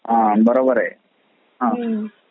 ह बरोबर आहे